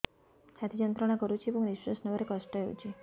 ଛାତି ଯନ୍ତ୍ରଣା କରୁଛି ଏବଂ ନିଶ୍ୱାସ ନେବାରେ କଷ୍ଟ ହେଉଛି